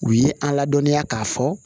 U ye an ladɔniya k'a fɔ